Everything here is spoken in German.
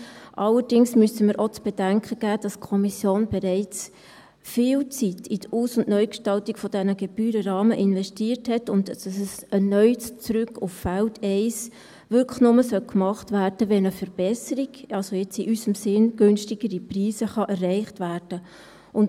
Allerdings müssten wir auch zu bedenken geben, dass die Kommission bereits viel Zeit in die Aus- und Neugestaltung dieser Gebührenrahmen investiert hat und ein erneutes Zurück auf Feld 1 wirklich nur gemacht werden sollte, wenn eine Verbesserung, also jetzt in unserem Sinn günstigere Preise, erreicht werden können.